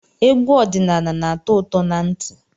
Egwu ọdịnaala na-atọ ụtọ na ntị.